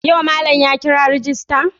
Yau malam ya kira rejista?